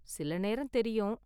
சில நேரம் தெரியும்.